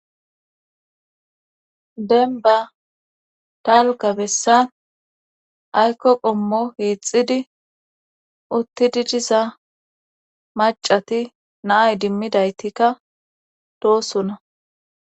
Denba talka bessa aykko qommo hiixidi uttidi diza macati naay dimmidaytikka doosona.